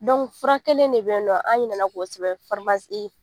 fura kElen de be yen nɔ, an ɲinɛna k'o sɛbɛn